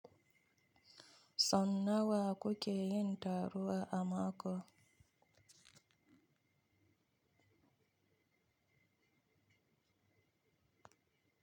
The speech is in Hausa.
Sau nawa kuke yin taro a makon?